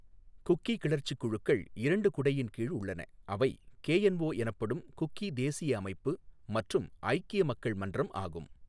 Cookie கிளர்ச்சிக் குழுக்கள் இரண்டு குடையின் கீழ் உள்ளன அவை கேஎன்ஓ எனப்படும் குக்கி தேசிய அமைப்பு மற்றும் ஐக்கிய மக்கள் மன்றம் ஆகும்.